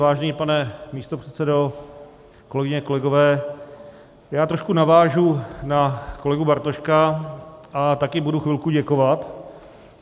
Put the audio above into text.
Vážený pane místopředsedo, kolegyně, kolegové, já trošku navážu na kolegu Bartoška a taky budu chvilku děkovat.